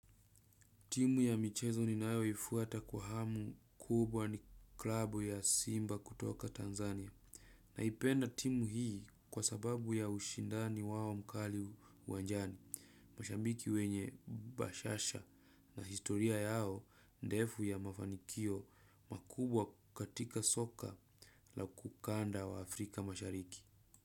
Timu ya michezo ninayoifuata kwa hamu kubwa ni klabu ya simba kutoka Tanzania naipenda timu hii kwa sababu ya ushindani wao mkali uwanjani. Mashambiki wenye bashasha na historia yao ndefu ya mafanikio makubwa katika soka la ukanda wa Afrika mashariki.